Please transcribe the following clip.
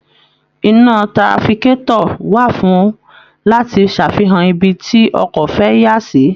Iná trafikátọ̀ wà fún láti ṣàfihàn ibi tí ọkọ̀ fẹ́ yà sí